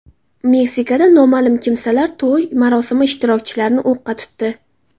Meksikada noma’lum kimsalar to‘y marosimi ishtirokchilarini o‘qqa tutdi.